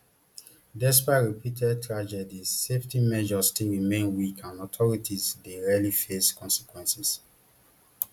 despite repeated tragedies safety measure still remain weak and authorities dey rarely face consequences